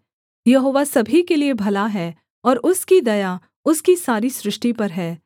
यहोवा सभी के लिये भला है और उसकी दया उसकी सारी सृष्टि पर है